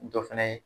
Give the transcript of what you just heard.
Dɔ fɛnɛ ye